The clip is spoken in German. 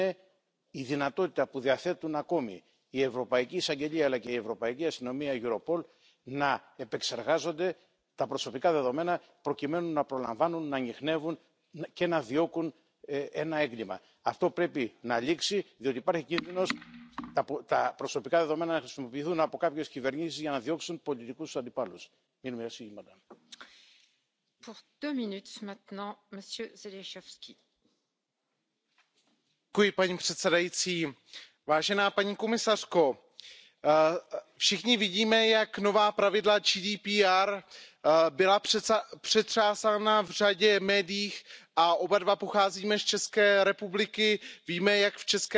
Eurojust, Europol und der Europäische Staatsanwalt die für den gemeinsamen Raum der Freiheit, der Sicherheit und des Rechts zentralen Institutionen werden nun ebenso erfasst. Europol und Eurojust unterliegen nunmehr den gleichen Regeln wie die Polizeibehörden in den Mitgliedstaaten. Es ist sehr bedauerlich, dass das alles viel zu lange gedauert hat. Eigentlich hätte dieses selbstverständliche, naheliegende Vorhaben schnell und rasch umgesetzt werden sollen und können. Wieder einmal waren es kurzsichtige Interessen einzelner Mitgliedstaaten, die eine zügige Umsetzung unmöglich gemacht haben. Ich möchte dieser